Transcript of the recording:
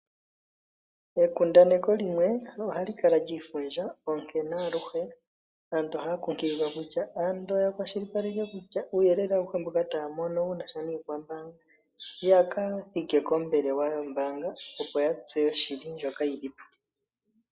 Ekundaneko limwe ohalu kala liifundja onkene aluhe aantu oha kunkililwa kutya ando uuyelele awuhe mboka taya mono wunasha nikwambanga yaka thike koombelewa yombanga opo ya tseye oshili ndjoka yili po.